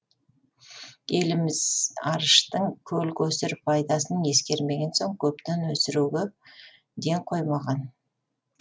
еліміз арыштың көл көсір пайдасын ескермеген соң көптеп өсіруге ден қоймаған